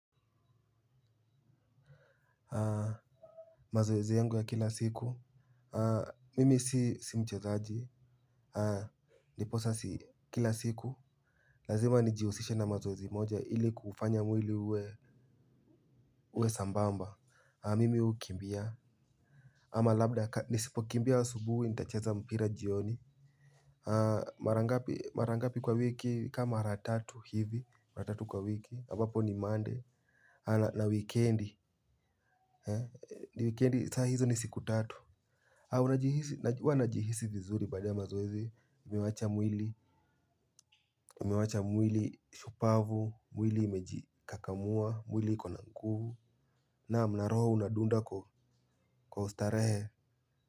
Mazoezi yangu ya kila siku, mimi si mchezaji, ndiposa si kila siku. Lazima nijihusishe na mazoezi moja ili kufanya mwili uwe sambamba, mimi hukimbia. Ama labda nisipokimbia asubuhi nitacheza mpira jioni. Mara ngapi kwa wiki ka mara tatu hivi, mara tatu kwa wiki, ambapo ni monday na wikendi, ni wikendi saa hizo ni siku tatu huwa najihisi vizuri baada ya mazoezi, mi huwacha mwili. Umewacha mwili shupavu, mwili imejikakamua, mwili iko na nguvu. Naam na roho unadunda kwa ustarehe.